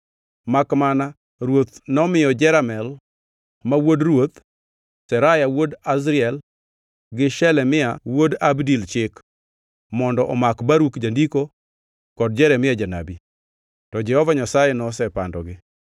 Makmana, ruoth nomiyo Jeramel, ma wuod ruoth, Seraya wuod Azriel gi Shelemia wuod Abdil chik, mondo omak Baruk jandiko kod Jeremia janabi. To Jehova Nyasaye nosepandogi.